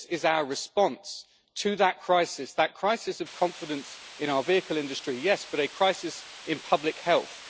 This is our response to that crisis, that crisis of confidence in our vehicle industry, yes, but a crisis in public health.